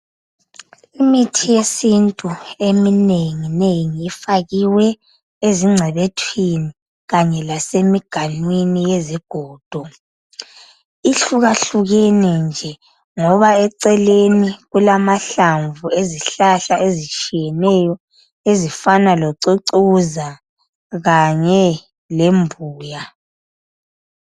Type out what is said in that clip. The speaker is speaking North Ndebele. Imithi yesintu eminenginengi ifakiwe ezingcebethwini lasemiganwini yezigodo ihlukahkukene nje loba eceleni kulamahlamvu ezihlahla ezitshiyeneyo ezifana locucuza Kanye lembuya.